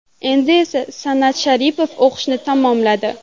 Endi esa San’at Sharipov o‘qishni tamomladi.